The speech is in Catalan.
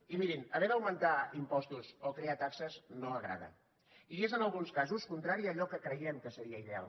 i mirin haver d’augmentar impostos o crear taxes no agrada i és en alguns casos contrari a allò que creiem que seria ideal